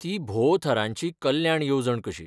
ती भोव थरांची कल्याण येवजण कशी.